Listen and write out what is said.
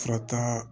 Fura taa